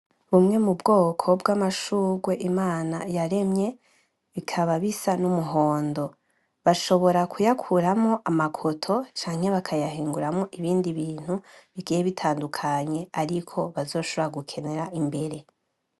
bumwe mubwoko Imana yaremye bikaba bisa numuhondo bashobora kuyakuramwo amakoto canke bakayahinguramwo ibindi bintu bigiye bitandukanye ariko bazoshobora gukenera imbere